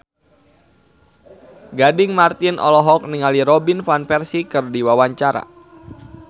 Gading Marten olohok ningali Robin Van Persie keur diwawancara